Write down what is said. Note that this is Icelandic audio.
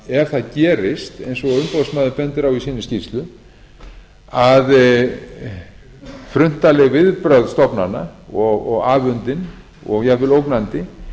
ef það gerist eins og umboðsmaður bendir á í sinni skýrslu að fruntaleg viðbrögð stofnana og afundin og jafnvel ógnandi